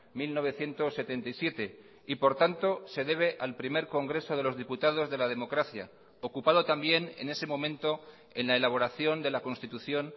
mil novecientos setenta y siete y por tanto se debe al primer congreso de los diputados de la democracia ocupado también en ese momento en la elaboración de la constitución